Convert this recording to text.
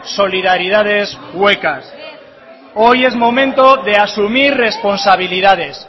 solidaridades huecas berbotsa hoy es momento de asumir responsabilidades